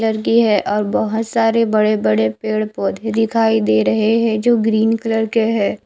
लरकी है और बोहोत सारे बड़े बड़े पेड़ पोधे दिखाई दे रहे है जो ग्रीन कलर के है।